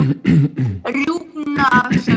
Rjúpnasölum